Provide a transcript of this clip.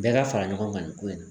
Bɛɛ ka fara ɲɔgɔn kan nin ko in na